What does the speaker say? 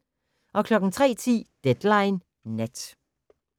03:10: Deadline Nat